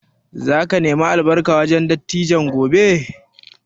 Za ka nemi albarka wurin dattijan gobe?